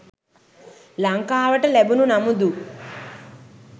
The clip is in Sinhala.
ලංකාවට ලැබුණු නමුදු